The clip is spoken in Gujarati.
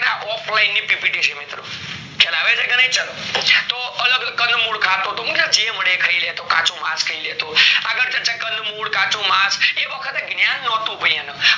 offline ની PPT છે મિત્રો ખ્યાલ આવે છે કે નાય તો અલગ કંદ મૂળ ખાતો હતો જેમ મળે એ ખઈ લેતો કાચું માસ ખઈ લેતો આગળ ચર્ચા કંદ મૂળ કાચું માસ એ વખતે જ્ઞાન નોતું ભય એન